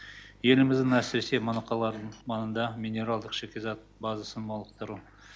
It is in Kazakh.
еліміздің әсіресе моноқалаларының маңында минералдық шикізаттық базасын толықтыру